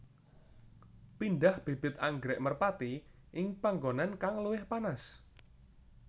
Pindah bibit anggrèk merpati ing panggonan kang luwih panas